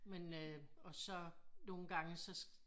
Men øh og så nogen gange så